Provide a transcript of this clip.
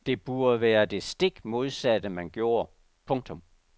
Det burde være det stik modsatte man gjorde. punktum